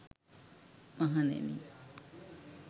මහණෙනි,